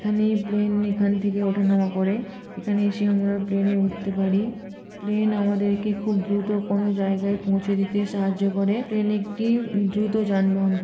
এখানে প্লেন এখান থেকে ওঠানামা করে এখানে এসে আমরা প্লেনে উঠতে পারি। প্লেন আমাদেরকে খুব দ্রুত কোন জায়গায় পৌঁছে দিতে সাহায্য করে। প্লেন একটি দ্রুত যানবাহন ক--